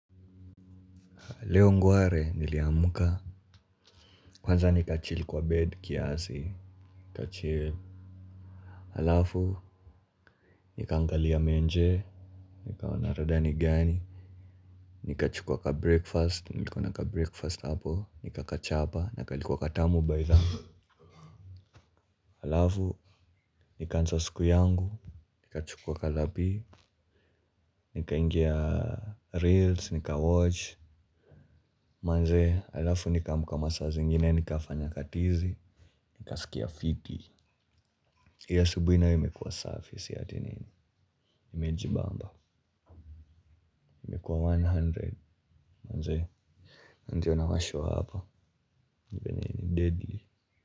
Leo ngware niliamka. Kwanza nikachill kwa bed kiasi nikachill halafu nikaangalia menje nikaona rada ni gani nikachukua kabreakfast nilikuwa na kabreakfast hapo nikakachapa na kalikuwa katamu baitha. Halafu nikaanza siku yangu nikachukua kalapi. Nikaingia reels nikawatch manze halafu nikaamka masaa zingine nikafanya katizi nikasikia fiti. Hii asubuhi nayo imekuwa safi si ati nini, nimejibamba imekuwa mia moja manze na ndiyo nawashow hapa ni vyenye ni deadly.